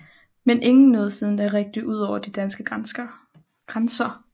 Men ingen nåede siden da rigtig ud over de danske grænser